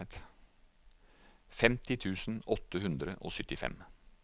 femti tusen åtte hundre og syttifem